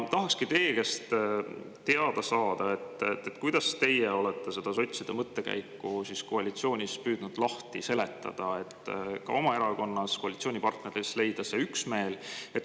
Tahakski teie käest teada saada, kuidas teie olete seda sotside mõttekäiku koalitsioonis püüdnud lahti seletada, et ka oma erakonnas ja koalitsioonipartnereis leida see üksmeel.